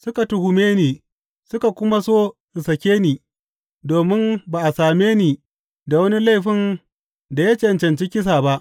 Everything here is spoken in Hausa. Suka tuhume ni suka kuma so su sake ni, domin ba a same ni da wani laifin da ya cancanci kisa ba.